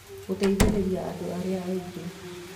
Gũteithĩrĩria andũ arĩa angĩ: